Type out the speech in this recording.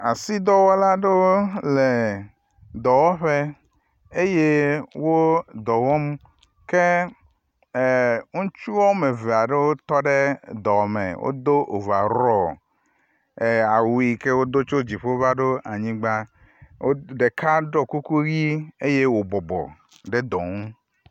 Asi dɔwɔla le dɔwɔƒe eye wo dɔwɔm ke ŋutsu wome eve aɖe wotɔ ɖe dɔme, wodo overall, awu yi wodo tso dziƒo va anyi, ɖeka ɖɔ kukunʋi eye wobɔbɔ ɖe dɔ ŋu